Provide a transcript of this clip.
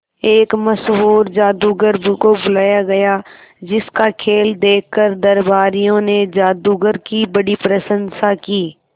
एक मशहूर जादूगर को बुलाया गया जिस का खेल देखकर दरबारियों ने जादूगर की बड़ी प्रशंसा की